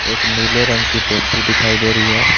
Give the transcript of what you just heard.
एक नीले रंग की टेंपू दिखाई दे रही है।